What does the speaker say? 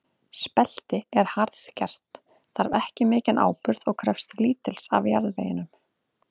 Spelti er harðgert, þarf ekki mikinn áburð og krefst lítils af jarðveginum.